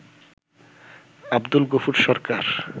Abdul Gafur Sarkar